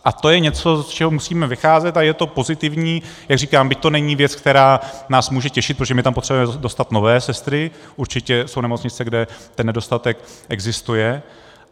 A to je něco, z čeho musíme vycházet, a je to pozitivní, jak říkám, byť to není věc, která nás může těšit, protože my tam potřebujeme dostat nové sestry, určitě jsou nemocnice, kde ten nedostatek existuje.